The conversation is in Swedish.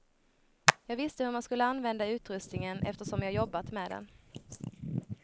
Jag visste hur man skulle använda utrustningen eftersom jag jobbat med den.